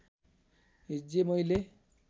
हिज्जे मैले